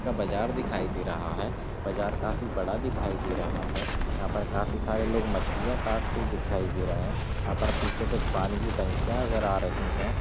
बाजार दिखाई दे रहा है बाजार काफी बड़ा दिखाई दे रहा है यहाँ पर काफी सारे लोग मछलियाँ काटते दिखाई दे रहें है यहाँ पर पीछे कुछ पानी की टंकियां नजर आ रही हैं। .